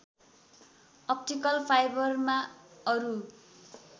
optical फाइबरमा अरू